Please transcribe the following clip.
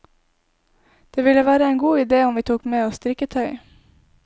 Det ville være en god idé om vi tok med oss strikketøy.